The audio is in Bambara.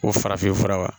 O farafinfura